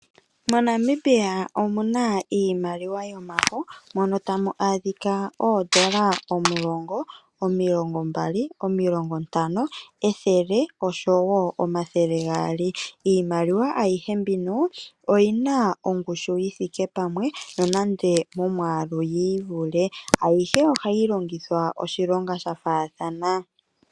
MoNamibia omuna iimaliwa yomafo moka tamu adhika oondola omulongo, omilongo mbali, omilongo ntano, ethele nosho wo omathele gaali. Iimaliwa ayihe mbika oyi na ongushu yithike pamwe nonande momwaalu oyi ivule. Ayihe oha yi londithwa oshilonga shafaathana.